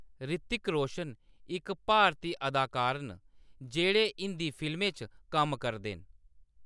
ऋतिक रोशन इक भारती अदाकार न जेह्‌‌ड़े हिंदी फिल्में च कम्म करदे न।